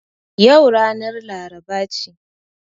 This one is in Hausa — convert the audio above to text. Yau ranar laraba ce